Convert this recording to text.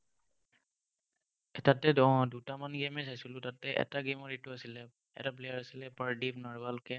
তাতেতো উম দুটামান game হে চাইছিলো, তাতে এটা game ৰ এইটো আছিলে, এটা player আছিলে - পাৰ্দিপ নাৰোৱাল কে।